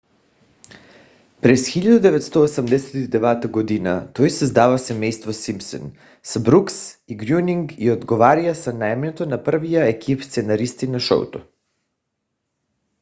през 1989 г. той създава семейство симпсън с брукс и грьонинг и отговаря за наемането на първия екип сценаристи на шоуто